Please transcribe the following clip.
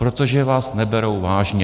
Protože vás neberou vážně.